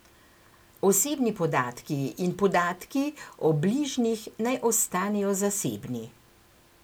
Osebni podatki in podatki o bližnjih naj ostanejo zasebni.